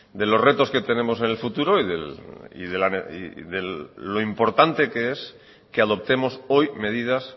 de los retos que tenemos en el futuro y de lo importante que es que adoptemos hoy medidas